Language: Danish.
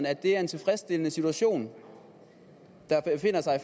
at det er en tilfredsstillende situation